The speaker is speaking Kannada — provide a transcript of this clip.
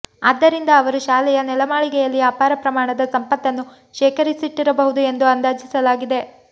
ಆದ್ದರಿಂದ ಅವರು ಶಾಲೆಯ ನೆಲಮಾಳಿಗೆಯಲ್ಲಿ ಅಪಾರ ಪ್ರಮಾಣದ ಸಂಪತ್ತನ್ನು ಶೇಖರಿಸಿಟ್ಟಿರಬಹುದು ಎಂದು ಅಂದಾಜಿಸಲಾಗಿದೆ